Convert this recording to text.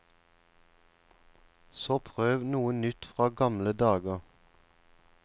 Så prøv noe nytt fra gamle dager.